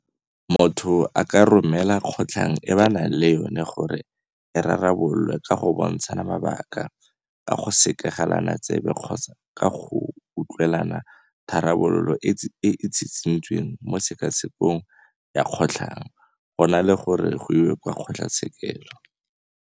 Motho a ka romela kgotlhang e ba nang le yona gore e rarabololwe ka go bontshana mabaka, ka go sekegelana tsebe kgotsa ka go utlwanela tharabololo e e tshitshintsweng mo tshekatshekong ya kgotlhang, go na le gore go iwe kwa kgotlhatshekelo.